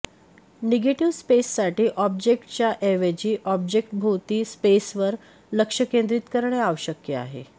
negative स्पेससाठी ऑब्जेक्टच्या ऐवजी ऑब्जेक्टभोवती स्पेसवर लक्ष केंद्रित करणे आवश्यक आहे